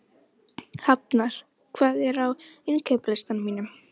Hafnar, hvað er á innkaupalistanum mínum?